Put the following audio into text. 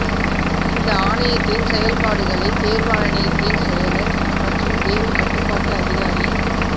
இந்த ஆணையத்தின் செயல்பாடுகளை தேர்வாணையத்தின் செயலர் மற்றும் தேர்வு கட்டுப்பாட்டு அதிகாரி